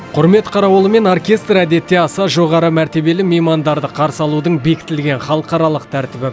құрмет қарауылы мен оркестр әдетте аса жоғары мәртебелі меймандарды қарсы алудың бекітілген халықаралық тәртібі